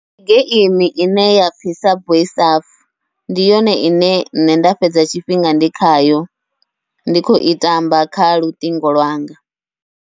Ndi geimi ine yapfhi subway surf ndi yone ine nṋe nda fhedza tshifhinga ndi khayo, ndi khou i tamba kha luṱingo lwanga.